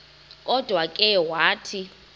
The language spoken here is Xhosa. kodwa ke wathi